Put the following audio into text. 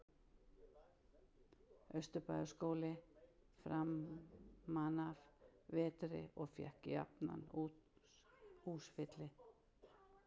Austurbæjarbíói framanaf vetri og fékk jafnan húsfylli.